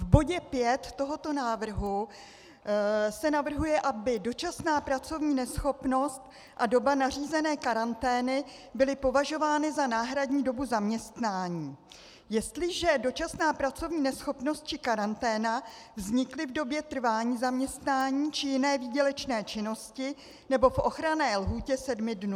V bodě 5 tohoto návrhu se navrhuje, aby dočasná pracovní neschopnost a doba nařízené karantény byly považovány za náhradní dobu zaměstnání, jestliže dočasná pracovní neschopnost či karanténa vznikly v době trvání zaměstnání či jiné výdělečné činnosti nebo v ochranné lhůtě sedmi dnů.